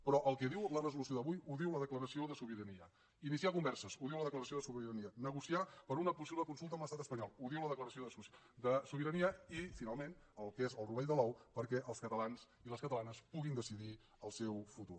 però el que diu la resolució d’avui ho diu la declaració de sobirania iniciar converses ho diu la declaració de sobirania negociar per una possible consulta amb l’estat espanyol ho diu la declaració de sobirania i finalment el que és el rovell de l’ou perquè els catalans i les catalanes puguin decidir el seu futur